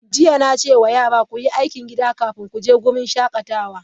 Jiya, na ce wa yara, ku yi aikin gida kafin ku je wurin shakatawa!